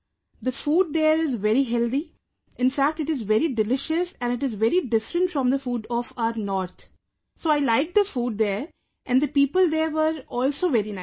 The food there is very healthy, in fact it is very delicious and it is very different from the food of our north, so I liked the food there and the people there were also very nice